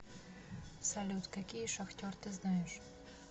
салют какие шахтер ты знаешь